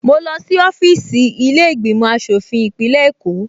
Mo lọ sí ọfíìsì ilé ìgbìmò aṣòfin ìpínlẹ̀ Èkó